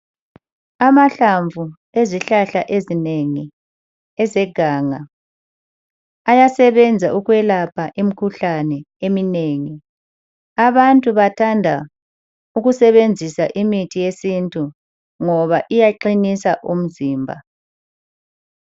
Amahlamvu ezihlahla ezinengi ezeganga ,ayasebenza ukwelapha imikhuhlane eminengi. Abantu bathanda ukusebenzisa imithi yesintu ngoba iyaqinisa umzimba.